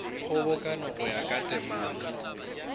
kgobokano go ya ka temana